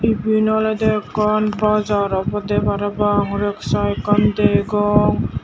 eyan olada akkan bazaar oboda parapang reksha akkan dogan.